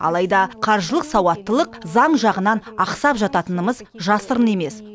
алайда қаржылық сауаттылық заң жағынан ақсап жататынымыз жасырын емес